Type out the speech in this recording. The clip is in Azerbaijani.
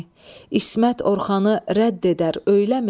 İsmət Orxanı rədd edər, öyləmi?